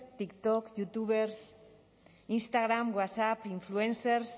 tik tok youtubers instagram whatsapp influencers